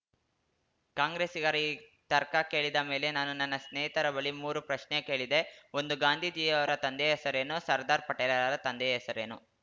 ಕಾಂಗ್ರೆಸಿಗರ ಈ ತರ್ಕ ಕೇಳಿದ ಮೇಲೆ ನಾನು ನನ್ನ ಸ್ನೇಹಿತರ ಬಳಿ ಮೂರು ಪ್ರಶ್ನೆ ಕೇಳಿದೆ ಒಂದು ಗಾಂಧೀಜಿಯವರ ತಂದೆಯ ಹೆಸರೇನು ಎರಡು ಸರ್ದಾರ್‌ ಪಟೇಲರ ತಂದೆಯ ಹೆಸರೇನು